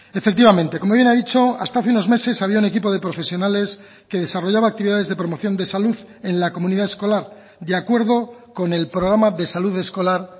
efectivamente como bien ha dicho hasta hace unos meses había un equipo de profesionales que desarrollaba actividades de promoción de salud en la comunidad escolar de acuerdo con el programa de salud escolar